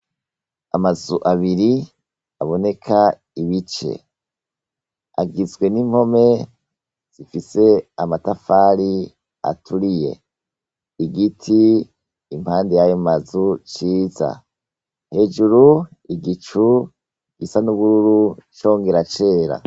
Amazu abiri aboneka ibice. Zigizwe n'impome zifise amatafari aturiye. Igiti impande y'ayo mazu, ciza. Hejuru igicu gisa n'ubururu congera cera.